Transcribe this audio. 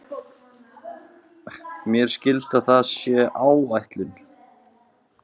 Veiðiálagið er sérstaklega mikið í Indlandshafi.